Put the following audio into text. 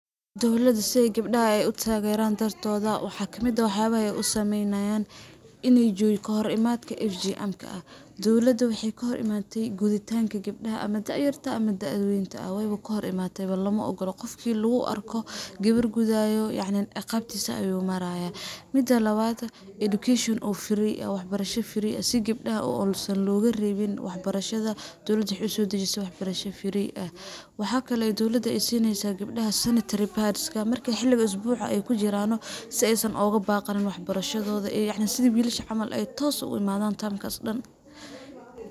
Dawladda si ay gabdhaha ay u tageraan dartooda waxa kamid ah wax yabaha ay u sameynayaan iney jiro kahor imaadka FGM ka ,dawladda waxey kahor imaatay guditaanka gabdhaha ama da'yarta aha ma da'da weynta ah ,weyba kahor imatay ba qofkii lagu arko yacni gabar gudaayo ciqabtiisa ayuu marayaa . Midda labaad education oo free ah wax barasha oo free ah ,si gabdhaha oo mase looga reebi wax barashada dawladda waxey sioo dajisay wax bartasha free ah. Waxaa kale ay dawladda sineysaa gabdhaha, sanitary pads ka marka xilliga isbuuca ay kujiraano si ay uga baaqanin ay sidi wiilasha camal ay toos ugu imadaan term kaas dhan.